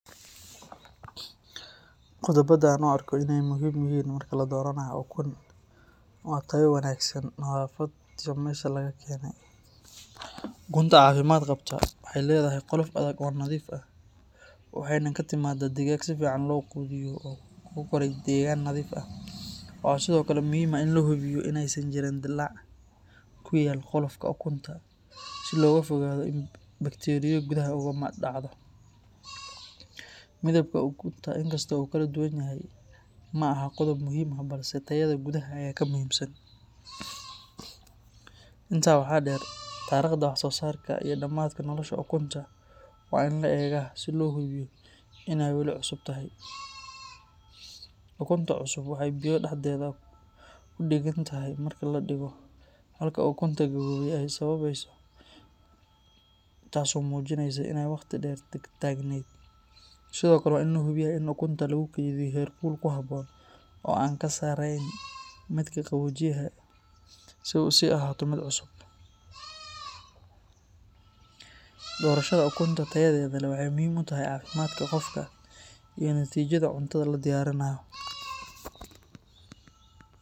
Qodoba aan arko inaay muhiim yihiin waxaa kamid ah, cunta cafimaad qabta waxeey ledahay qolof adag oo nadiif ah waxeeyna kaimaad deegan, waxaa sido kale lahubiya qolof dilaac kuyaala, intaaa waxaa deer tariqda wax soo saarka, ukunta cusub waxeey kudagan tahay marka ladigo, waa in lahubiya in lagu kariya heer kul, waxeey muhiim utahay cafimaadka qofka iyo natiijada cunta ladiyaarinaayo.